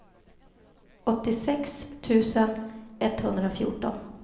åttiosex tusen etthundrafjorton